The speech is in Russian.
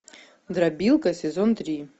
дробилка сезон три